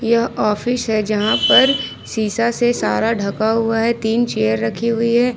यह ऑफिस है जहां पर शीशा से सारा ढका हुआ है तीन चेयर रखी हुई है।